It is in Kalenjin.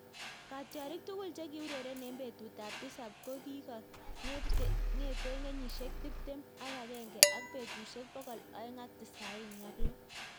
Katyarik tugul chekiureren eng petut ap tisap kokikong'etee kenyisiek tiptem ak agenge ak petusiek pokol oeng ak tisaini ak loo